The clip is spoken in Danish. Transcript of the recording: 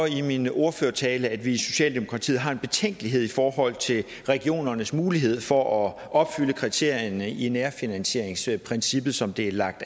i min ordførertale at vi i socialdemokratiet har en betænkelighed i forhold til regionernes mulighed for at opfylde kriterierne i nærfinansieringsprincippet som der er lagt